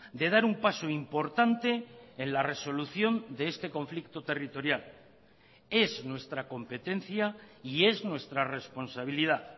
de dar un paso importante en la resolución de este conflicto territorial es nuestra competencia y es nuestra responsabilidad